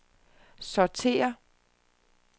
sortér